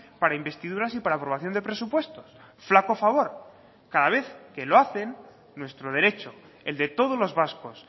para investiduras y para aprobación de presupuestos flaco favor cada vez que lo hacen nuestro derecho el de todos los vascos